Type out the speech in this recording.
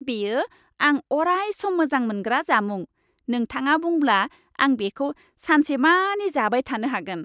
बेयो आं अराय सम मोजां मोनग्रा जामुं, नोंथाङा बुंब्ला आं बेखौ सानसेमानि जाबाय थानो हागोन।